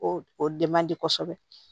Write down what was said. O o dɛmɛ man di kosɛbɛ